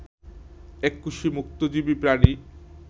এককোষী মুক্তজীবী প্রাণী